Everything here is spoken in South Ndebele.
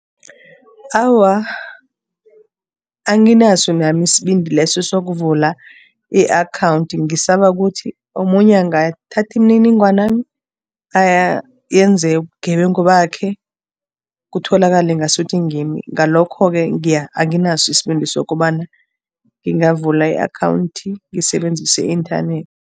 Awa, anginaso nami isibindi leso sokuvula i-akhawundi. Ngisaba ukuthi omunye angathatha imininingwanami ayenze ubugebengu bakhe, kutholakale ngasuthi ngimi. Ngalokho-ke anginaso isibindi sokobana ngingavula i-akhawundi ngisebenzisa i-inthanethi.